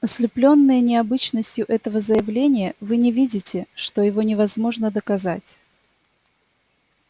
ослеплённые необычностью этого заявления вы не видите что его невозможно доказать